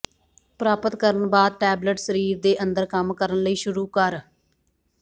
ਪ੍ਰਾਪਤ ਕਰਨ ਬਾਅਦ ਟੈਬਲੇਟ ਸਰੀਰ ਦੇ ਅੰਦਰ ਕੰਮ ਕਰਨ ਲਈ ਸ਼ੁਰੂ ਕਰ